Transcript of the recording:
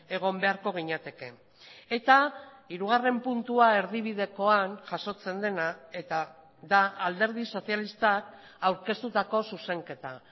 egon beharko ginateke eta hirugarren puntua erdibidekoan jasotzen dena eta da alderdi sozialistak aurkeztutako zuzenketa